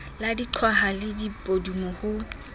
le diqhwaha le dipudumo ho